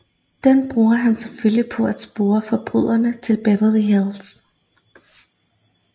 Den bruger han selvfølgelig på at spore forbryderne til Berverly Hills